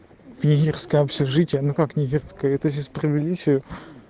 книги рзкая общежитие ну как невестка с провели серию